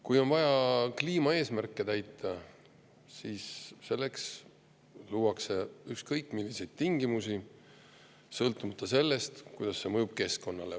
Kui on vaja kliimaeesmärke täita, siis selleks luuakse ükskõik milliseid tingimusi, sõltumata sellest, kuidas see mõjub keskkonnale.